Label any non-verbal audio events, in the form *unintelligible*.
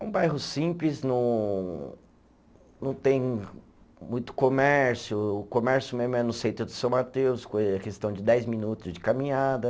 É um bairro simples, não não tem muito comércio, o comércio mesmo é no centro de São Mateus, *unintelligible* é questão de dez minutos de caminhada.